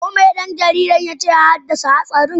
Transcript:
Ko me dan jaridar ya ce ya haddasa hatsarin?